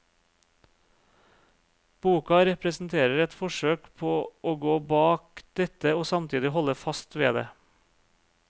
Boka representerer et forsøk på å gå bak dette og samtidig holde fast ved det.